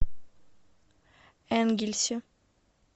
энгельсе